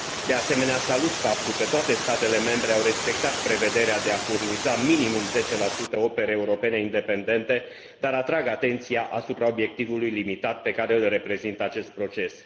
De asemenea, salut faptul că toate statele membre au respectat prevederea de a furniza minimum 10 opere europene independente, dar atrag atenția asupra obiectivului limitat pe care îl reprezintă acest proces.